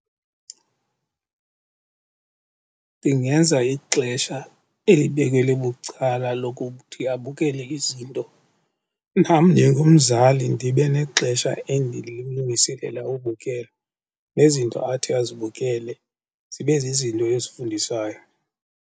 Ndingenza ixesha elibekelwe bucala lokuthi abukele izinto, nam njengomzali ndibe nexesha endililungiselela ubukela nezinto athi azibukele zibe zizinto ezifundisayo.